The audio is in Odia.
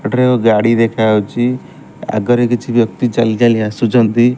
ଏଠାରେ ଏକ ଗାଡି ଦେଖା ଯାଉଚି ଆଗରେ କିଛି ବ୍ୟକ୍ତି ଚାଲି ଚାଲି ଆସୁଛନ୍ତି।